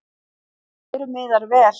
En öðru miðar vel.